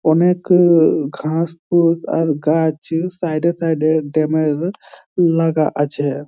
অনেকএ এ ঘাসফুস আর গাছ সাইড -এ সাইড -এ ড্রেন -এর লাগা আছে।